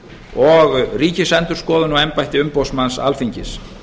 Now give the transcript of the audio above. og ríkisendurskoðun og embætti umboðsmanns alþingis